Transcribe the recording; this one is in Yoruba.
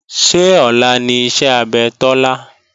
Ṣé ọ̀la ni iṣẹ́ abẹ Tọ́lá?